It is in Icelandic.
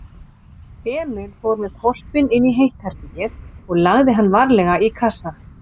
Emil fór með hvolpinn inní hitt herbergið og lagði hann varlega í kassann.